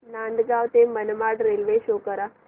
नांदगाव ते Manmad railway show करा